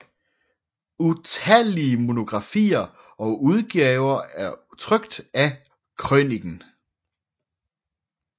Utallige monografier og udgaver er trykt af krøniken